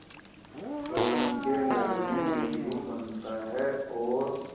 रोहन के घर में येल्लू बनता है और